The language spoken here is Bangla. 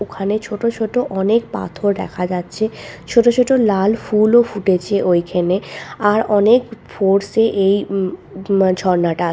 ওখানে ছোট ছোট অনেক পাথর দেখা যাচ্ছে ছোট ছোট লাল ফুল ও ফুটেছে ওইখানে আর অনেক ফোর্সে এই ম ম ঝরনাটা আ--